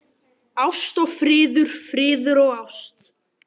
Ást og friður, friður og ást.